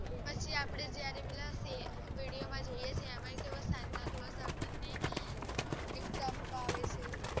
પછી અપડે પેલી video માં જોઈએ છીએ એમાં કેવા santa claus જોવા મળે છે